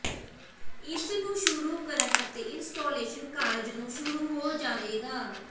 ਇਸ ਨੂੰ ਸ਼ੁਰੂ ਕਰਨ ਅਤੇ ਇੰਸਟਾਲੇਸ਼ਨ ਕਾਰਜ ਨੂੰ ਸ਼ੁਰੂ ਹੋ ਜਾਵੇਗਾ